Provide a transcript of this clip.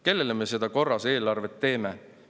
Kellele me seda korras eelarvet teeme?